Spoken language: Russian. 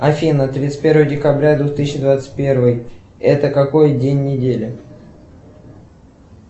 афина тридцать первое декабря двух тысячи двадцать первый это какой день недели